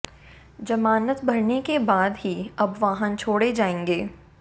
जमानत भरने के बाद ही अब वाहन छोड़े जाएंगे